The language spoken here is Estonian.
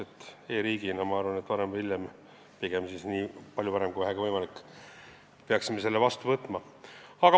E-riigina, ma arvan, et varem või hiljem – pigem siis nii palju varem kui vähegi võimalik – peaksime selle seaduse vastu võtma.